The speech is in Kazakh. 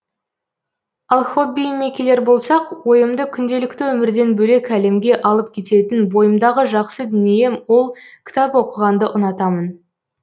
ал хоббиімме келер болсақ ойымды күнделікті өмірден бөлек әлемге алып кететін бойымдағы жақсы дүнием ол кітап оқығанды ұнатамын